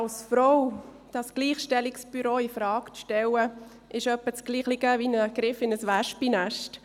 Als Frau das Gleichstellungsbüro infrage zu stellen, ist in etwa das Gleiche wie der Griff in ein Wespennest.